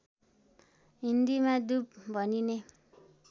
हिन्दीमा दुब भनिने